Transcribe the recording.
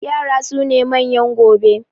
yara sune manyan gobe